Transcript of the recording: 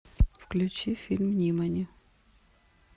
включи фильм нимани